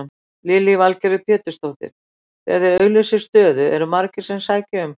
Lillý Valgerður Pétursdóttir: Þegar þið auglýsið stöðu eru margir sem sækja um?